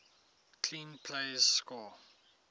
clean plays score